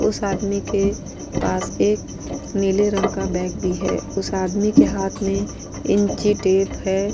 उस आदमी के पास एक नीले रंग का बैग भी है। उस आदमी के हाथ में इंचीटेप है।